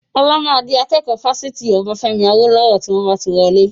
Ọlá máa di akẹ́kọ̀ọ́ Fásitì Obafemi Awolowo tí wọn bá ti wọlé.